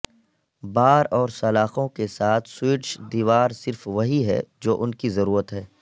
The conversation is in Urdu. بار اور سلاخوں کے ساتھ سویڈش دیوار صرف وہی ہے جو ان کی ضرورت ہے